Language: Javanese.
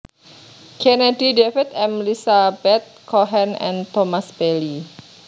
Kennedy David M Lizabeth Cohen and Thomas Bailey